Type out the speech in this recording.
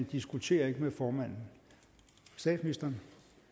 diskuterer ikke med formanden statsministeren